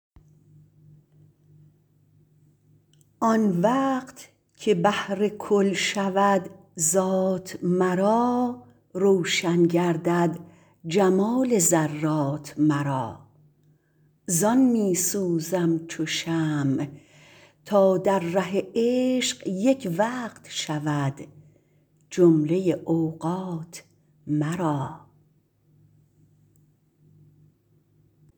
آن وقت که بحر کل شود ذات مرا روشن گردد جمال ذرات مرا زان می سوزم چو شمع تا در ره عشق یک وقت شود جمله اوقات مرا